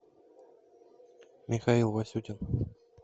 михаил васютин